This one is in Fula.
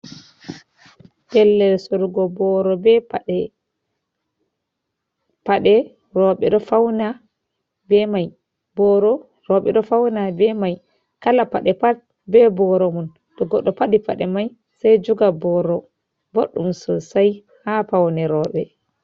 Pellel surugo booo be paɗe, booro rowɓe ɗo fawna be may, paɗe rowɓe ɗo fawna be may. Kala paɗe pat be booro mum to goɗɗo faɗi pade may say joga booro, boɗɗum sosay haa pawne rowɓe.